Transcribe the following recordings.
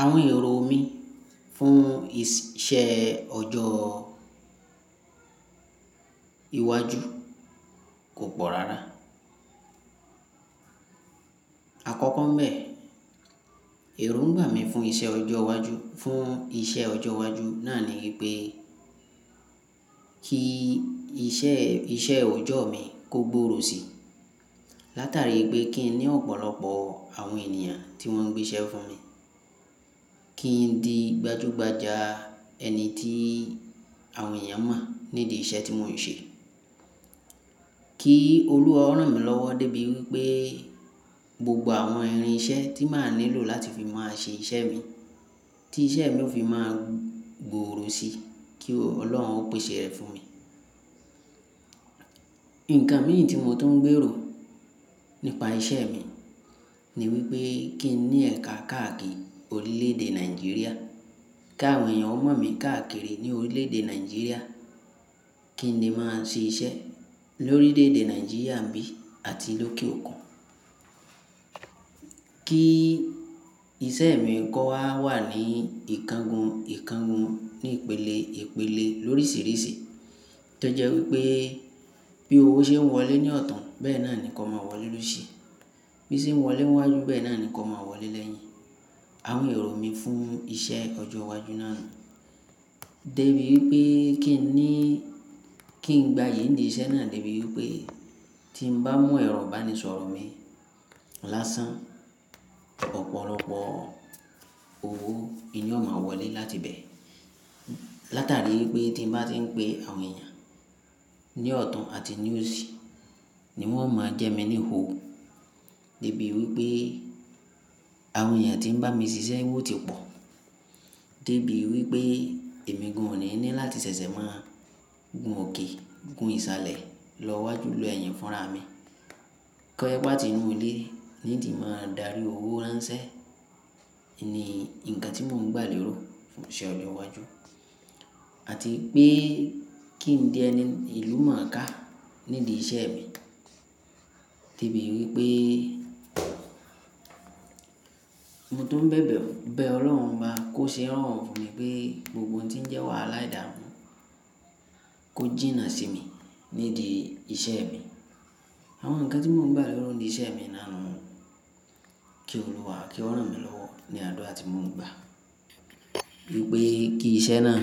Àwọn èrò mi fún iṣẹ́ ọjọ́ iwájú kò pọ̀ rárá. Àkọ́kọ́ ń bẹ, èròńgba mi fún iṣẹ́ ọjọ́ iwájú, fún iṣẹ́ ọjọ́ iwájú náà ni wípé kí iṣẹ́, iṣẹ́ ọojọ́ mi kó gbòòrò si. Látàrí pé kí n ní ọ̀pọ̀lọpọ̀ àwọn ènìyàn tí wón ń gbé iṣẹ́ fún mi. Kí n di gbajúgbajà ẹni tí àwọn èèyàn mọ̀ nídìí iṣẹ́ tí mò ń ṣe. Kí olúwa o rán mi lọ́wọ́ débi wípé gbogbo àwọn irin iṣẹ́ tí màá nílò láti fi máa ṣe iṣẹ́ mi, tí iṣẹ́ mi ó fi máa gbòòrò si, kí Ọlọ́run ó pèsè rẹ̀ fún mi. Ǹǹkan mii tí mo tun ń gbèrò nípa iṣẹ́ mi ni wípé kí n ní ẹ̀ka káàkiri orílẹ̀ èdè Nàìjíríà. Kí àwọn èèyàn ó mọ̀ mi káàkiri ní orílẹ̀ èdè Nàìjíríà. Kí n lè máa ṣe iṣẹ́ lórílẹ̀ èdè Nàìjíríà nbí àti lókè òkun. Kí iṣẹ́ mi kó wà ní ìkangun ìkangun, ní ìpele ìpele lórísìírísìí. Tọ jẹ́ wípé bí owó ṣe ń wọlé ní ọ̀tun bẹ́ẹ̀ náà ni kó má wọlé lósì. Bíi ṣe ń wọlé níwájú bẹ́ẹ̀ náà ni kó má wọlé lẹ́yìn. Àwọn èrò mi fún iṣẹ́ ọjọ́ iwájú náà ni. Débi wípé kí n ní, kí n gba yìí nídìí iṣẹ́ náà débi wípé tí n bá mú ẹ̀rọ ìbánisọ̀rọ̀ mi lásán, ọ̀pọ̀lọpọ̀ owó ni yóò máa wọlé láti ibẹ̀. Látàrí wípé tí n bá tí ń pé àwọn èèyàn ní ọ̀tun àti ní òsì ni wón o máa jẹ́ mi ní ò. Débi wípé àwọn èèyàn tí ń bá mi ṣiṣẹ́ owó ti pọ̀. Débi wípé èmi gan òní ní láti ṣẹ̀ṣẹ̀ máa gun òkè, gun ìsàlẹ̀ lọ wájú lọ ẹ́yìn fúnra mi. Kọjẹ́ pe àti inú ilé ní n ti máa darí owó ránṣẹ́ ni ǹkan tí mò ń gbà lérò fún iṣẹ́ ọjọ́ iwájú. Àti pé kí n di ẹni ìlú mọ̀ọ́ká nídìí iṣẹ́ mi. Débi wípé mo tun ń bẹ̀bẹ̀ bẹ Ọlọ́run Obá, kó ṣe n rorun fún mi pé gbogbo ohun tí ń jẹ́ wàhálà ìdámù kó jìnnà sí mi nídìí iṣẹ́ mi. Àwọn ǹkan tí mò ń gbà lérò nídìí iṣẹ́ mi náà ni kí olúwa, kí ó rán mi lọ́wọ́ ní àdura àti mò ń gbà wípé kí iṣẹ́ náà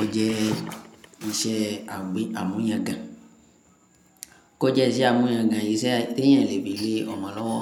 ó jẹ́ iṣẹ́ àmúyagàn. Kó jẹ́ iṣẹ́ àmúyagàn, iṣẹ́ tẹ́yàn lè fí le ọmọ lọ́wọ́.